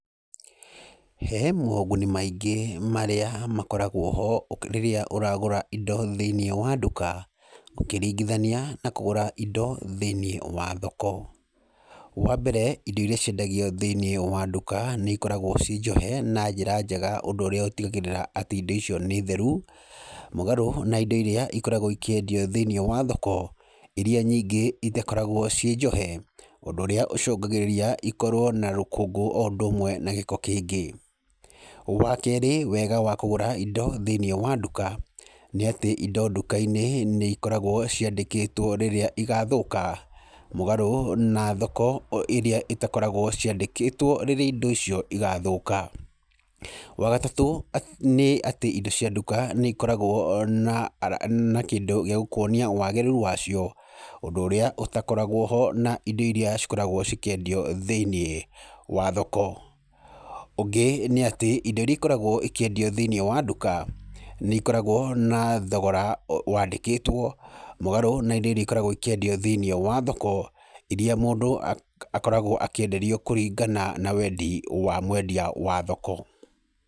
He moguni maingĩ marĩa makoragwo ho ũkĩ rĩrĩa ũragũra indo thĩinĩ wa nduka, ũkĩringithania na kũgũra indo thĩinĩ wa thoko, wa mbere indo iria ciendagio thĩinĩ wa nduka, nĩ ikoragwo cinjohe na njĩra njega ũndũ ũrĩa ũtigagĩrĩra atĩ indo icio nĩ theru, mũgaro na indo iria ikoragwo ikĩendio thĩinĩ wa thoko, iria nyingĩ itakũragwo ciĩ njohe, ũndũ ũrĩa ũcũngagĩrĩria ikorwo na rũkũngũ o ũndũ ũmwe na gĩko kĩingĩ, wa kerĩ wega wa kũgũra indo thĩinĩ wa nduka, nĩ atĩ indo nduka-inĩ nĩ ikoragwo ciandĩkĩtwo rĩrĩa igathũka, mũgarũ na thoko ĩrĩa ĩtakoragwo ciandĩkĩtwo rĩrĩa indo ico igathũka, wa gatatũ nĩ atĩ indo cia nduka nĩ ikoragwo na ara na kĩndũ gĩa gũkuonia wagĩrĩru wacio, ũndũ ũria ũtakoragwo ho na indo iria cikoragwo cikĩendio thĩinĩ wa thoko, ũngĩ nĩ atĩ indo iria ikoragwo ikĩendio thĩinĩ wa nduka, nĩ ikoragwo na thogora wandĩkĩtwo, mũgarũ na indo iria ikoragwo ikĩendio thĩinĩ wa thoko, iria mũndũ akoragwo akĩenderio kũringana na wendi wa mwendia wa thoko.